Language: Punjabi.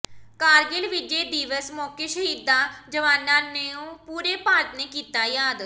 ਕਾਰਗਿਲ ਵਿਜੈ ਦਿਵਸ ਮੌਕੇ ਸ਼ਹੀਦਾਂ ਜਵਾਨਾਂ ਨੂੰ ਪੂਰੇ ਭਾਰਤ ਨੇ ਕੀਤਾ ਯਾਦ